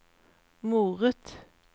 moret